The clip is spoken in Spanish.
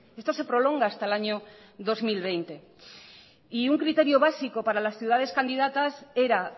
esto se prolonga hasta el año dos mil veinte y un criterio básico para las ciudades candidatas era